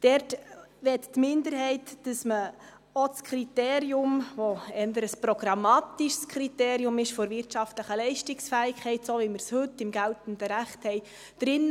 Da möchte die Minderheit, dass man auch das Kriterium der wirtschaftlichen Leistungsfähigkeit, das eher ein programmatisches Kriterium ist, so drin lässt, wie wir es heute im geltenden Recht haben.